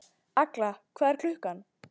Agla, hvað er klukkan?